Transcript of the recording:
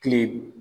Kile